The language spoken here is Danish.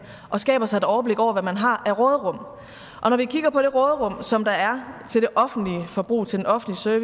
og skaber sig et overblik over hvad man har af råderum når vi kigger på det råderum som der er til det offentlige forbrug til den offentlige